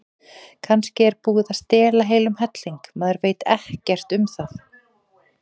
Kannski er búið að stela heilum helling, maður veit ekkert um það.